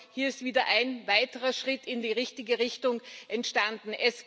Hier ist wieder ein weiterer Schritt in die richtige Richtung entstanden.